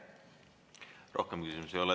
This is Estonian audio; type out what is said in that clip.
Rohkem küsimusi ei ole.